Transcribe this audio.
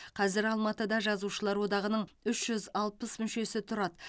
қазір алматыда жазушылар одағының үш жүз алпыс мүшесі тұрады